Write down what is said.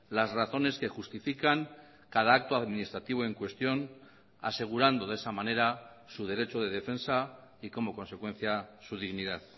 las razones que justifican cada acto administrativo en cuestión asegurando de esa manera su derecho de defensa y como consecuencia su dignidad